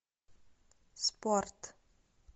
спорт